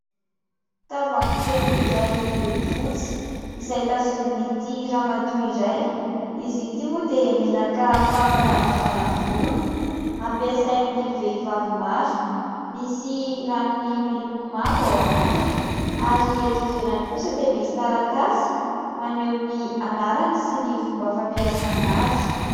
Tavoahangy kely iray miloko fotsy izay tazomin'ity ramatoa iray. Izy ity moa dia menaka fampanalavana volo, ampiasain'ny vehivavy maro misy ranony miloko mavo ao anatiny ary eto ivelany kosa dia misy taratasy maneho ny anarany sy ny fomba fampiasana azy.